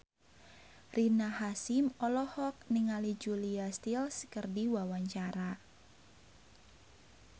Rina Hasyim olohok ningali Julia Stiles keur diwawancara